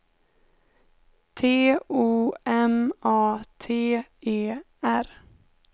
T O M A T E R